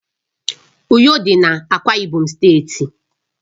Uyo dị n'Akwa Ibom steeti